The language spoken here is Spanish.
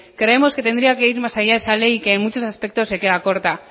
creemos que tendría que ir más allá esa ley y que en muchos aspectos se queda corta